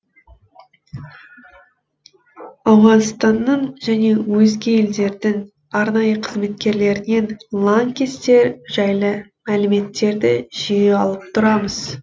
ауғанстанның және өзге елдердің арнайы қызметкерлерінен лаңкестер жайлы мәліметтерді жиі алып тұрамыз